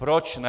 Proč ne?